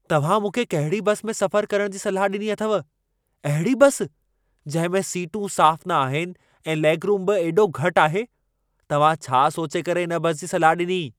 तव्हां मूंखे कहिड़ी बस में सफर करण जी सलाह ॾिनी अथव। अहिड़ी बस, जंहिं में सीटूं साफ़ न आहिनि ऐं लेगरूम बि एॾो घटि आहे। तव्हां छा सोचे करे इन बस जी सलाह ॾिनी।